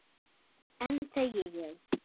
Enn þegi ég.